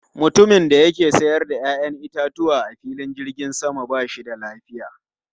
Mutumin da ke sayar da 'ya'yan itatuwa a filin jirgin sama ba shi da lafiya.